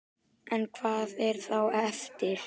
En hvað er þá eftir?